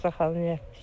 Xəstəxanaya gətirdilər.